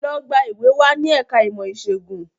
Lọ gba ìwé wá ní ẹ̀ka ìmọ̀ ìṣègùn!